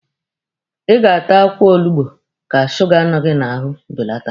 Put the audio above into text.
Ị ga-ata akwụkwọ olugbu ka suga nọ gị n'ahụ belata!